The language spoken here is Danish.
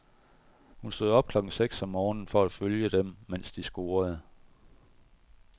Hun stod op klokken seks om morgenen for at følge dem, mens de scorede.